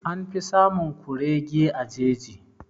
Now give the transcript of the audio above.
An fi samun kurege a jeji.